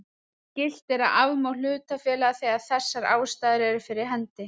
Skylt er að afmá hlutafélag þegar þessar ástæður eru fyrir hendi.